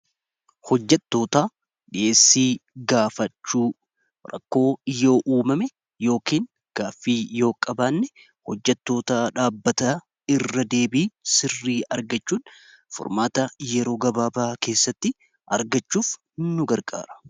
Hojjatoota dhi'eessii gaafachuu rakkoo yoo uumame yookiin gaaffii yoo qabaanne hojjatoota dhaabbata irra deebii sirrii argachuun formaata yeroo gabaabaa keessatti argachuuf nu garqaara.